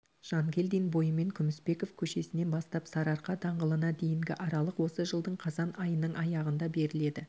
жангелдин бойымен күмісбеков көшесінен бастап сарыарқа даңғылына дейінгі аралық осы жылдың қазан айынын аяғында беріледі